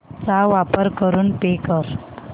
चा वापर करून पे कर